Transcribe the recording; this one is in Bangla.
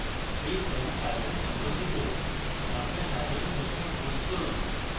এই forum python সম্পর্কিত আপনার সাধারণ প্রশ্ন post করুন